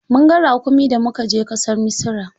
Mun ga raƙumi da muka je ƙasar Misira.